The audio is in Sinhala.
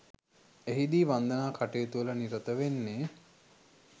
එහිදී වන්දනා කටයුතුවල නිරත වෙන්නේ